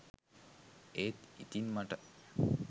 ඒත් ඉතින් මට